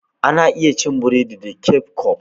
Ana iya cin burodi da keccof.